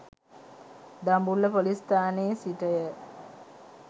Dambulla police ස්ථානයේ සිටය.